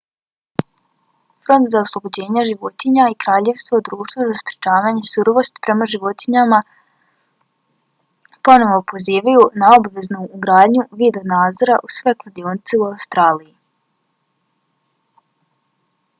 front za oslobođenja životinja i kraljevsko društvo za sprečavanje surovosti prema životinjama royal society for the prevention of cruelty to animals rspca ponovo pozivaju na obaveznu ugradnju video nadzora u sve klaonice u australiji